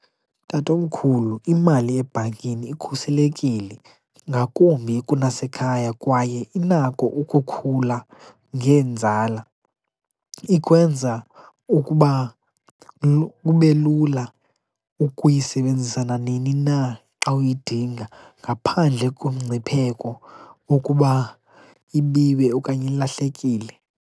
Tatomkhulu, imali ebhankini ikhuselekile ngakumbi kunasekhaya kwaye inako ukukhula ngenzala. Ikwenza ukuba kube lula ukuyisebenzisa nanini na xa uyidinga ngaphandle komngcipheko wokuba ibiwe okanye ilahlekile.